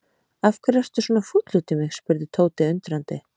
Af hverju ertu svona fúll út í mig? spurði Tóti undrandi.